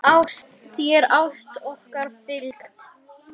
Þér ást okkar fylgi.